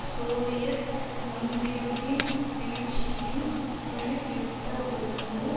Soviet ஒன்றியத்தின் வீழ்ச்சியும் குளிர் யுத்த ஒழுங்கு